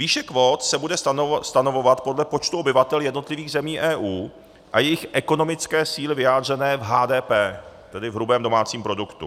Výše kvót se bude stanovovat podle počtu obyvatel jednotlivých zemí EU a jejich ekonomické síly vyjádřené v HDP, tedy v hrubém domácím produktu.